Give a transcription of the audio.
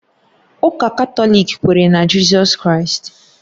Ụka Katọlik kwere na Jizọs Kraịst